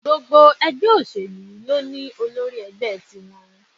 Gbogbo ẹgbẹ́ òṣèlú ló ní Olórí ẹgbẹ́ tiwọn.